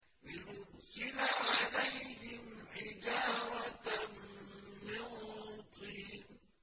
لِنُرْسِلَ عَلَيْهِمْ حِجَارَةً مِّن طِينٍ